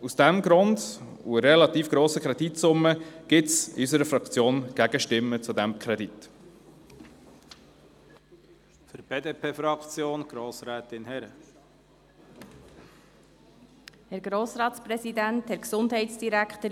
Aus diesem Grund und wegen der relativ hohen Kreditsumme gibt es in unserer Fraktion Gegenstimmen zu diesem Kredit.